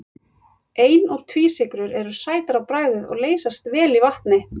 Ein- og tvísykrur eru sætar á bragðið og leysast vel í vatni.